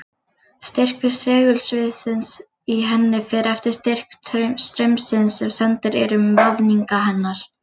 Styrkur segulsviðsins í henni fer eftir styrk straumsins sem sendur er um vafninga hennar.